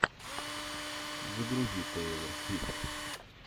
загрузи тейлор свифт